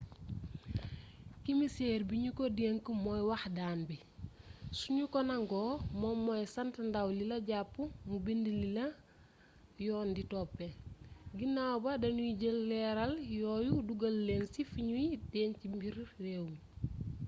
kimiseer bi ñu ko denk mooy wax daan bi su ñu ko nangoo moom mooy sant ndaw lila jàpp mu bind lila yoon di toppee ginaaw ba dañuy jël leeraal yooyu dugal leen ci fi ñuy denc mbiri réew mi